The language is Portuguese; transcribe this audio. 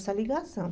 Essa ligação.